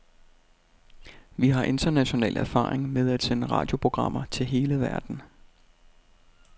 Vi har international erfaring med at sende radioprogrammer til hele verden.